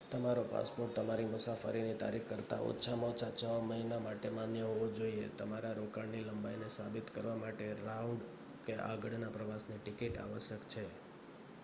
તમારો પાસપોર્ટ તમારી મુસાફરીની તારીખ કરતાં ઓછામાં ઓછા 6 મહિના માટે માન્ય હોવો જોઈએ. તમારા રોકાણની લંબાઈને સાબિત કરવા માટે રાઉન્ડ/આગળ નાં પ્રવાસની ટિકિટ આવશ્યક છે